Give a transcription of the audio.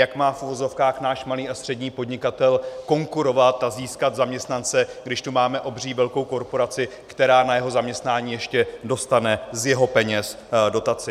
Jak má v uvozovkách náš malý a střední podnikatel konkurovat a získat zaměstnance, když tu máme obří velkou korporaci, která na jeho zaměstnání ještě dostane z jeho peněz dotaci.